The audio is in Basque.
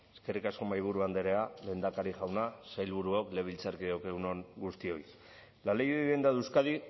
eskerrik asko mahaiburu andrea lehendakari jauna sailburuok legebiltzarkideok egun on guztioi la ley de vivienda de euskadi